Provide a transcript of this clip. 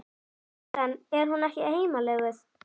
Sultan, er hún ekki heimalöguð?